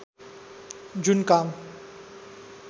जुन काम